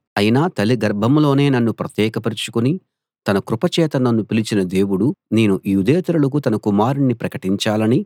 అయినా తల్లిగర్భంలోనే నన్ను ప్రత్యేకపరచుకుని తన కృప చేత నన్ను పిలిచిన దేవుడు నేను యూదేతరులకు తన కుమారుణ్ణి ప్రకటించాలని